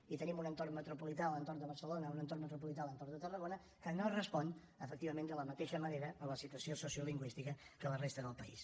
i tenim un entorn metropolità a l’entorn de barcelona un entorn metropolità a l’entorn de tarragona que no responen efectivament de la mateixa manera a la situació sociolingüística que la resta del país